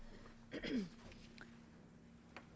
der